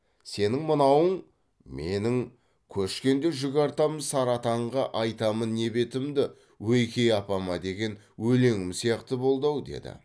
сенің мынауың менің көшкенде жүк артамын сары атанға айтамын не бетімді ойке апама деген өлеңім сияқты болды ау деді